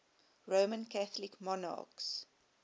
roman catholic monarchs